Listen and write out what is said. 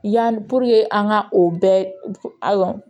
Yan an ka o bɛɛ a dɔn